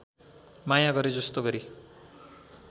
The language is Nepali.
माया गरेजस्तो गरी